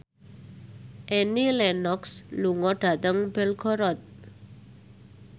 Annie Lenox lunga dhateng Belgorod